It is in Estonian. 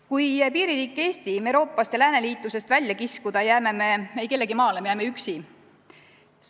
Kui piiririik Eesti Euroopast ja lääneliitlusest välja kiskuda, jääme me eikellegimaale, me jääme üksi.